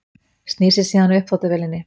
Snýr sér síðan að uppþvottavélinni.